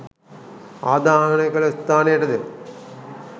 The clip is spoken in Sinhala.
ආදාහනය කළ ස්ථානයටද